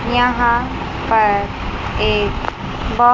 यहां पर एक ब--